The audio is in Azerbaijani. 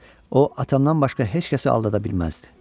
O, atamdan başqa heç kəsi aldada bilməzdi.